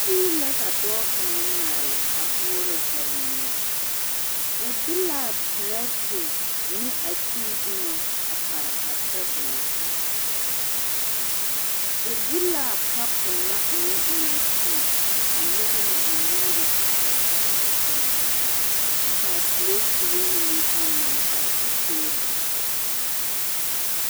Tii la ka dɔɔ kaŋa maale a boɔrɔ ka o nyu, o de l'a perɛte ne a tii boma a pare a tabol zu, o de l'a kapo na o naŋ eŋaa tii a nyɔge ne o nuuri kpara kyɛ pãã taa kyɛ ka piletiri mine pãã naŋ pare a teebol zu.